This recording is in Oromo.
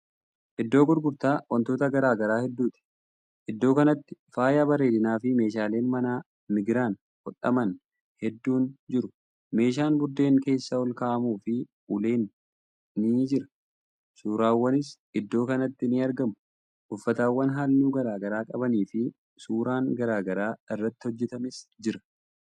Iddoo gurgurtaa wantoota garagaraa hedduuti. iddoo kanatti faaya bareedinafi meeshaaleen manaa migiraan hodhaman hedduun jiru. meeshaan buddeen keessa olkaa'amufi uleen ni jira. suuraawwanis iddoo kanatti ni argamu. uffatawwan halluu garagaraa qabaniifi suuraan garagaraa irratti hojjatames jira.